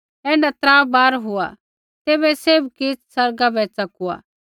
ऐण्ढा त्रा बार हुआ तैबै सैभ किछ़ आसमाना बै च़ेकुआ